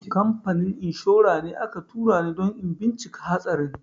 Kamfanin inshora ne aka tura ni don in bincika hatsarin.